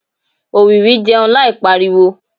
òwìwí jẹun láì pariwo